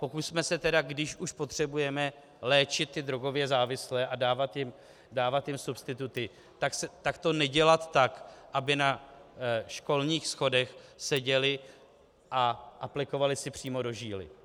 Pokusme se tedy, když už potřebujeme léčit ty drogově závislé a dávat jim substituty, tak to nedělat tak, aby na školních schodech seděli a aplikovali si přímo do žíly.